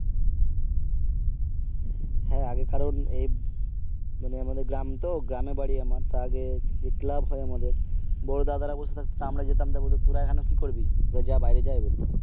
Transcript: হ্যাঁ, আগে কারণ এ মানে আমাদের গ্রাম তো গ্রামে বাড়ি আমার তো আগে যে ক্লাব হয় আমাদের বড় দাদারা বসে থাকতো, আমরা যেতাম তো বলতে তোরা এখানে কি করবি তোরা যা বাইরে যা